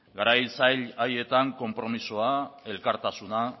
garai zail haietan konpromisoa elkartasuna